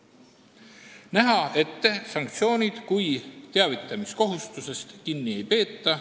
Soovitakse, et nähakse ette sanktsioonid, kui teavitamiskohustusest kinni ei peeta.